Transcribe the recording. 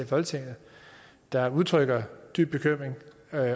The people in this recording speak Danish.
folketinget der udtrykker dyb bekymring